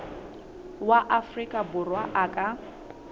wa afrika borwa a ka